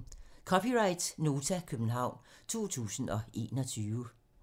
(c) Nota, København 2021